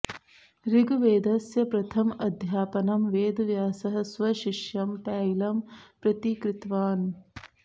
ऋग्वेदस्य प्रथम अध्यापनं वेदव्यासः स्वशिष्यं पैलं प्रति कृतवान्